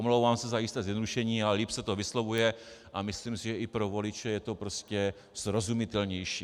Omlouvám se za jisté zjednodušení, ale líp se to vyslovuje a myslím si, že i pro voliče je to prostě srozumitelnější.